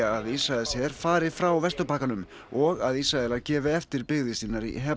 að Ísraelsher fari frá Vesturbakkanum og Ísraelar gefi eftir byggðir sínar í